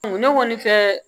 Ne kɔni fɛ